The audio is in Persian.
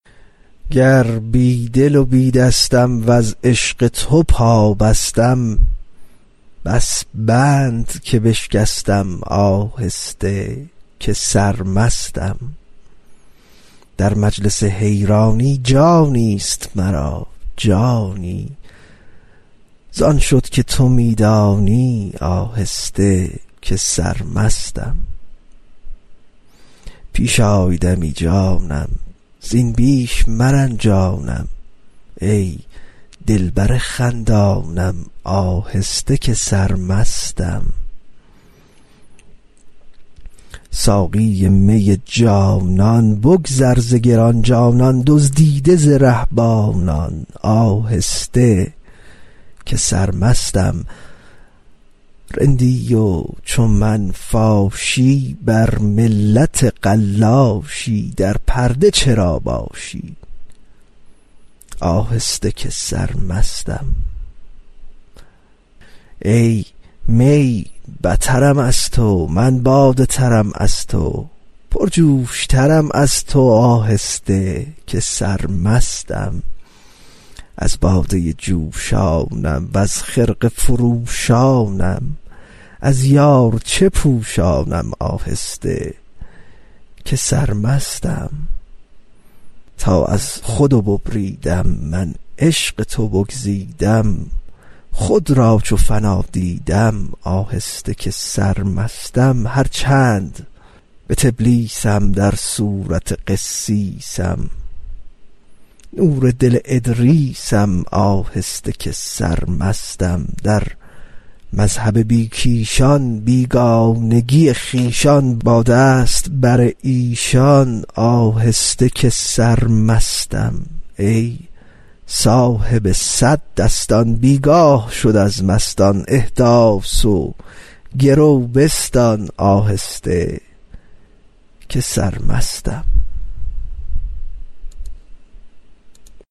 گر بی دل و بی دستم وز عشق تو پابستم بس بند که بشکستم آهسته که سرمستم در مجلس حیرانی جانی است مرا جانی زان شد که تو می دانی آهسته که سرمستم پیش آی دمی جانم زین بیش مرنجانم ای دلبر خندانم آهسته که سرمستم ساقی می جانان بگذر ز گران جانان دزدیده ز رهبانان آهسته که سرمستم رندی و چو من فاشی بر ملت قلاشی در پرده چرا باشی آهسته که سرمستم ای می بترم از تو من باده ترم از تو پرجوش ترم از تو آهسته که سرمستم از باده جوشانم وز خرقه فروشانم از یار چه پوشانم آهسته که سرمستم تا از خود ببریدم من عشق تو بگزیدم خود را چو فنا دیدم آهسته که سرمستم هر چند به تلبیسم در صورت قسیسم نور دل ادریسم آهسته که سرمستم در مذهب بی کیشان بیگانگی خویشان باد است بر ایشان آهسته که سرمستم ای صاحب صد دستان بی گاه شد از مستان احداث و گرو بستان آهسته که سرمستم